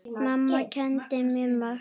Mamma kenndi mér margt.